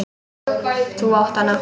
Þú átt hana!